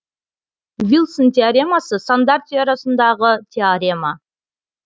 вильсон теоремасы сандар теориясындағы теорема